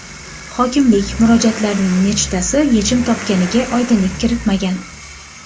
Hokimlik murojaatlarning nechtasi yechim topganiga oydinlik kiritmagan.